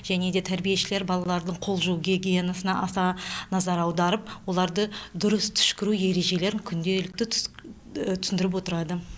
және де тәрбиешілер балалардың қол жуу гигиенасына аса назар аударып оларды дұрыс түшкіру ережелерін күнделікті түсіндіріп отырады